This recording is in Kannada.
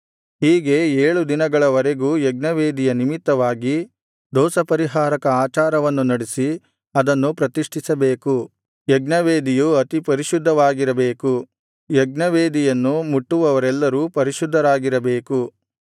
ಹೀಗೆ ಏಳು ದಿನಗಳವರೆಗೂ ಯಜ್ಞವೇದಿಯ ನಿಮಿತ್ತವಾಗಿ ದೋಷಪರಿಹಾರಕ ಆಚಾರವನ್ನು ನಡಿಸಿ ಅದನ್ನು ಪ್ರತಿಷ್ಠಿಸಬೇಕು ಯಜ್ಞವೇದಿಯು ಅತಿ ಪರಿಶುದ್ಧವಾಗಿರಬೇಕು ಯಜ್ಞವೇದಿಯನ್ನು ಮುಟ್ಟುವವರೆಲ್ಲರೂ ಪರಿಶುದ್ಧರಾಗಿರಬೇಕು